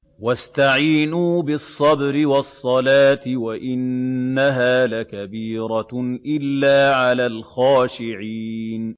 وَاسْتَعِينُوا بِالصَّبْرِ وَالصَّلَاةِ ۚ وَإِنَّهَا لَكَبِيرَةٌ إِلَّا عَلَى الْخَاشِعِينَ